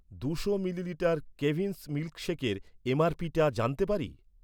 দুশো মিলিলিটার কেভিন্স মিল্কশেকের এমআরপিটা জানতে পারি?